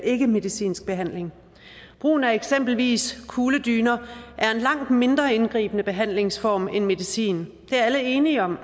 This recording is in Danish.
ikkemedicinsk behandling brugen af eksempelvis kugledyner er en langt mindre indgribende behandlingsform end medicin det er alle enige om